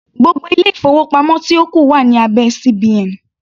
Gbogbo ilé-ìfowópamọ́ tí ó kù wà ní abẹ́ CBN.